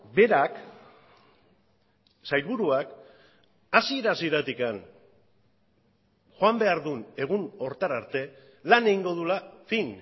berak sailburuak hasiera hasieratik joan behar duen egun horretara arte lan egingo duela fin